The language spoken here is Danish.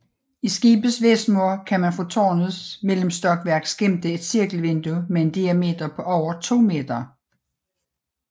I skibets vestmur kan man fra tårnets mellemstokværk skimte et cirkelvindue med en diameter på over to meter